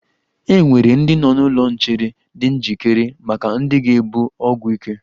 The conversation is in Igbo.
E nwere ndị nọ n'ụlọ nchere di njikere maka ndị ga-ebu ọgwụ ike.